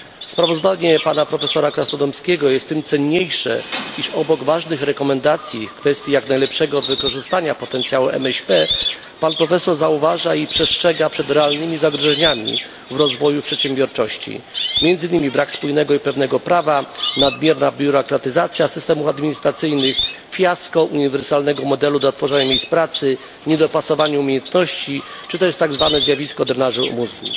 Sprawozdanie pana profesora Krasnodębskiego jest tym cenniejsze, iż obok ważnych rekomendacji w kwestii jak najlepszego wykorzystania potencjału MŚP, pan profesor zauważa i przestrzega przed realnymi zagrożeniami w rozwoju przedsiębiorczości, między innymi brakiem spójnego i pewnego prawa, nadmierną biurokratyzacją systemów administracyjnych, fiaskiem uniwersalnego modelu dla tworzenia miejsc pracy, niedopasowaniem umiejętności czy tak zwanym zjawiskiem drenażu mózgu.